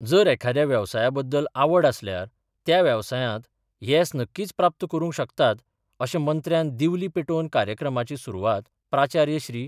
जर एखाद्या वेवसाया बद्दल आवड आसल्यार त्या वेवसायांत येस नक्कीच प्राप्त करूंक शकतात, अशे मंत्र्यान दिवली पेटोवन कार्यक्रमाची सुरवात प्राचार्य श्री.